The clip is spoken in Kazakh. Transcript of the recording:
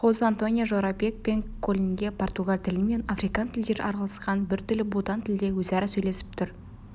хозе-антонио жорабек пен колинге португал тілі мен африкан тілдері араласқан біртүрлі будан тілде өзара сөйлесіп тұр